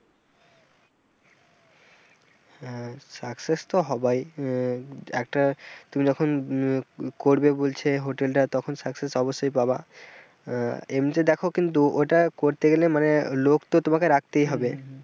হ্যাঁ success তো হবাই আহ একটা তুমি যখন করবে বলছে যখন hotel টা তখন success অবশ্যই পাবা এমনিতে দেখো কিন্তু ওটা করতে গেলে মানে লোক তো তোমাকে রাখতে হবে।